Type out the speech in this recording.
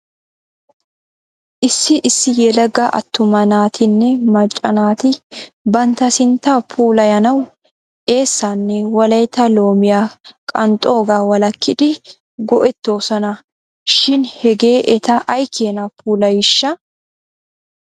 Issi issi yelaga attuma naatinne macca naati bantta sinttaa puulayanaw eessaanne wolaytta loomiyaa qanxxoogaa walakkidi go'etoosona, shin hegee eta aykeenaa puulayiishsha?